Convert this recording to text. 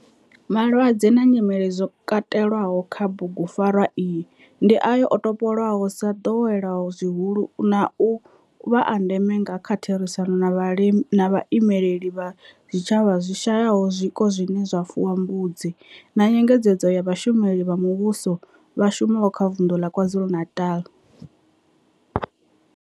Malwadze na nyimele zwo katelwaho kha bugu pfarwa iyi ndi ayo o topolwaho sa doweleaho zwihulu na u vha a ndeme nga kha therisano na vhaimeleli vha zwitshavha zwi shayaho zwiko zwine zwa fuwa mbudzi na nyengedzedzo ya vhashumeli vha muvhusho vha shumaho kha Vundu la KwaZulu-Natal.